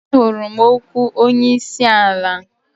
Ahụrụ m okwu onye isi ala.